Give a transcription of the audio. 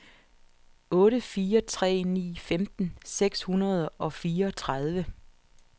otte fire tre ni femten seks hundrede og fireogtredive